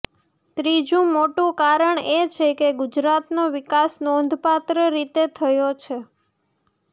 ત્રીજું મોટું કારણ એ છે કે ગુજરાતનો વિકાસ નોંધપાત્ર રીતે થયો છે